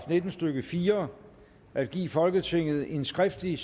nitten stykke fire at give folketinget en skriftlig